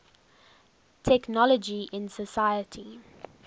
technology in society